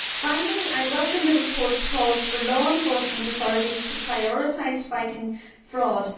Finally, I welcome the report's calls for law enforcement authorities to prioritise fighting fraud.